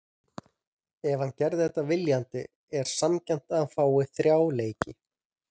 Ef hann gerði þetta viljandi er sanngjarnt að hann fái þrjá leiki.